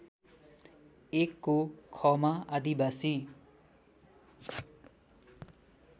१ को ख मा आदिवासी